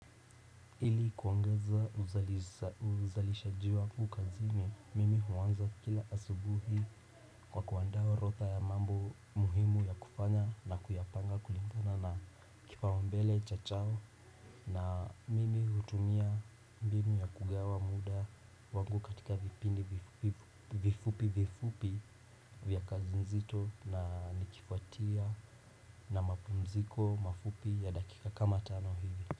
Ili kuangozea uzalishaji wangu kazini, mimi huanza kila asubuhi kwa kuandaa orotha ya mambo muhimu ya kufanya na kuyapanga kulimgana na kipaumbele cha chao na mimi hutumia mbinu ya kugawa muda wangu katika vipindi vifupi vifupi vya kazi nzito na nikifuatia na mapumziko mafupi ya dakika kama tano hivi.